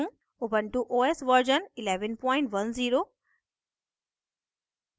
ubuntu os version 1110